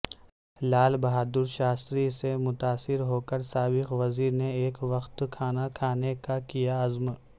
لال بہادرشاستری سے متاثر ہوکر سابق وزیر نے ایک وقت کھانا کھانے کاکیاعزم